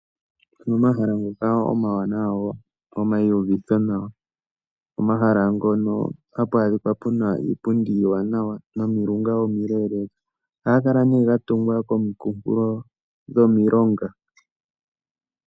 Opuna omahala ngoka omawanawa ngoka gomauvitho nawa ,omahala ngono hapu adhika puna iipundi iiwanawa nomilunga omileeleka ohaga kala nee ga tungwa kominkunkulo dhomilonga.